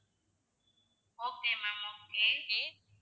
okay ma'am okay